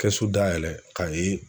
Kɛsu dayɛlɛ k'a ye